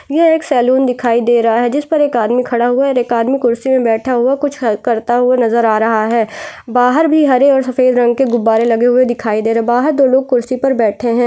ये एक सलून दिखाई दे रहा है जिस पर एक आदमी खड़ा हुआ और एक आदमी कुर्सी पर बैठा हुआ कुछ करता हुआ नजर आ रहा है बाहर भी हरे और सफ़ेद रंग के गुब्बारे लगे हुये दिखाई दे रहे है बाहर दो लोग कुर्सी पर बैठे--